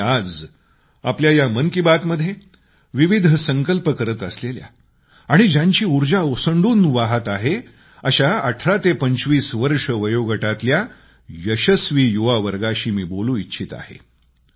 आणि आज आपल्या या मन की बात मध्ये विविध संकल्प करत असलेल्या आणि ज्यांची ऊर्जा ओसंडून वाहत आहे अशा 18 ते 25 वर्षे वयोगटातल्या यशस्वी युवावर्गाशी मी बोलू इच्छित आहे